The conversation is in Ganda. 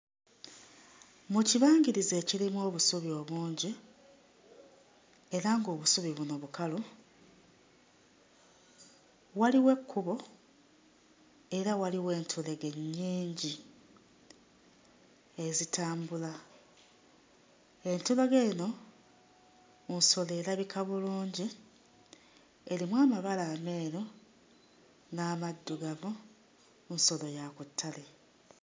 Mu kibangirizi ekirimu obusubi obungi era ng'obusubi buno bukalu, waliwo ekkubo era waliwo entulege nnyingi ezitambula, entulege eno nsolo erabika bulungi erimu amabala ameeru n'amaddugavu, nsolo ya ku ttale